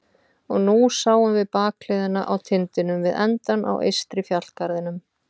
Og nú sáum við bakhliðina á tindinum við endann á eystri fjallgarðinum.